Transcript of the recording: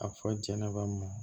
A fɔ jɛnɛba m